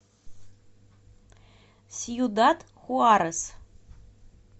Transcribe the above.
сьюдад хуарес